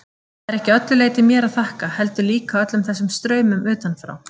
Það er ekki að öllu leyti mér að þakka, heldur líka öllum þessum straumum utanfrá.